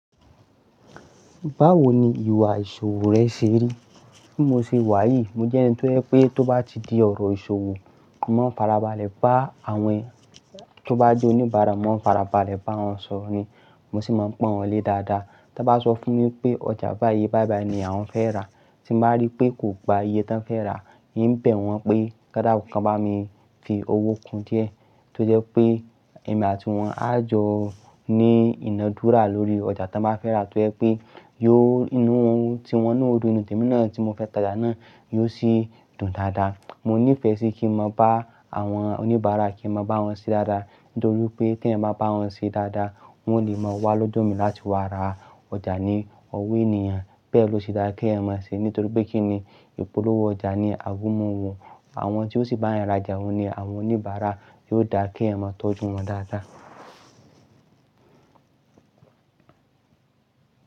Báwo ni ìwà ìṣòwò rẹ ṣe rí? Bí mo ṣe wà yìí, mo jẹ́ ẹni tó jẹ́ pé tó bá ti di ọ̀rọ̀ ìṣòwò, máa ń farabalẹ̀ bá àwọn tó bá di oníbàárà, máa ń farabalẹ̀ bá wọn sọ̀rọ̀ ni. Mo sì máa ń pọn wọ́n lé dáadáa. Tí wọ́n bá sọ fún mi pé ọjà bayii iyé bayi bayi ní àwọn fẹ́ rà, tí màá rí pé kò gba iye tí wọ́n fẹ́ rà, ń bee wọ́n pé ki won dàkun bá mi fi owó kun díẹ̀. Tó jẹ́ pé ẹ̀mi àti wọn á jọ ní inádúrà lórí ọjà tí wọ́n bá fẹ́ rà. Tó jẹ́ pé yóò inú tí wọn yo dun inú tèmi náà tí mo fẹ́ tàjà náà, yóò sì dùn dáadáa. Mo nífẹ̀ẹ́ sí kí n mọ bá àwọn oníbàárà, kí n mọ bá wọn ṣe dáadáa. Nítorí pé tí ẹ̀mi bá bá wọn ṣe dáadáa, wọ́n ó lè máa wá lodo mi láti wá ra ọjà ní ọwọ́ ènìyàn. Bẹ́ẹ̀ lo ṣe dá kí eyan mọ ṣe. Nítorí pé kí ni ìpolówó ọjà ni àgúnmọ̀wọ̀. Àwọn tí ó sì bá eyan rajà wọ̀ ni àwọn oníbàárà. Yóò dà kí ẹ̀ mọ tọ́jú wọn dáadáa.